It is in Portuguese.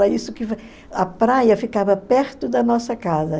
A praia ficava perto da nossa casa.